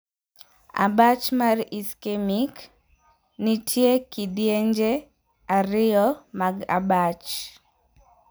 Abach mar 'ischemic'. Nitie kidienje ariyo mag abach.